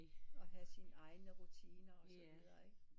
Og havde sine egne rutiner